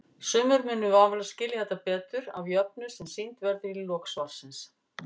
Sumir munu vafalaust skilja þetta betur af jöfnu sem sýnd verður í lok svarsins.